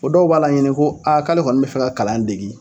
dɔw b'a laɲini ko k'ale kɔni bɛ fɛ ka kalan degi.